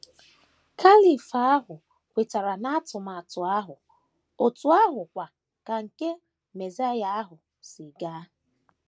Caliph ahụ kwetara n’atụmatụ ahụ otú ahụ kwa ka nke “ mesaịa ” ahụ si gaa.